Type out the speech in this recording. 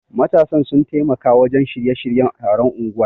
Matasan sun taimaka wajen shirya-shiryen taron unguwar.